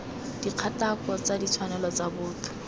dikgatako tsa ditshwanelo tsa botho